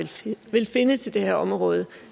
vil finde til det her område